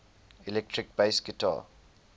electric bass guitar